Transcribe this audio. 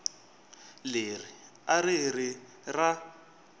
leri a ri ri ra